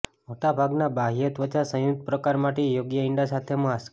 મોટા ભાગના બાહ્ય ત્વચા સંયુક્ત પ્રકાર માટે યોગ્ય ઇંડા સાથે માસ્ક